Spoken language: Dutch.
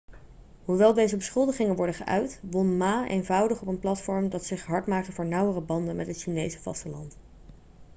hoewel deze beschuldigingen werden geuit won ma eenvoudig op een platform dat zich hard maakte voor nauwere banden met het chinese vasteland